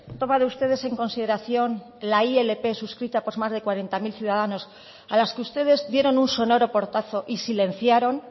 tomado ustedes en consideración la ilp suscrita por más de cuarenta mil ciudadanos a los que ustedes dieron un sonoro portazo y silenciaron